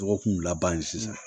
Dɔgɔkun laban sisan